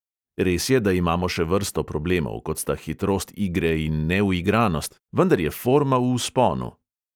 Res je, da imamo še vrsto problemov, kot sta hitrost igre in neuigranost, vendar je forma v vzponu.